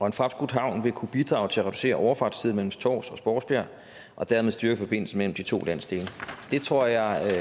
en fremskudt havn vil kunne bidrage til at reducere overfartstiden mellem tårs og spodsbjerg og dermed styrke forbindelsen mellem de to landsdele det tror jeg